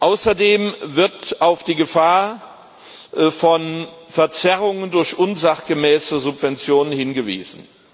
Außerdem wird auf die Gefahr von Verzerrungen durch unsachgemäße Subventionen hingewiesen.